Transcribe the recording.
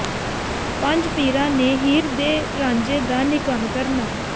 ਪੰਜ ਪੀਰਾਂ ਨੇ ਹੀਰ ਤੇ ਰਾਂਝੇ ਦਾ ਨਿਕਾਹ ਕਰਨਾ